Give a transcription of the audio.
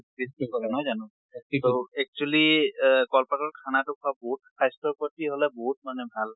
কৰে নহয় জানো? actually এহ কল পাতত খানাতো খোৱা বহুত স্বাস্থ্য়ৰ প্ৰতি হʼলে বহুত মানে ভাল।